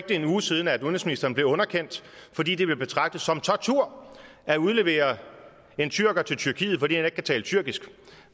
det er en uge siden at udenrigsministeren blev underkendt fordi det blev betragtet som tortur at udlevere en tyrker til tyrkiet fordi han ikke kan tale tyrkisk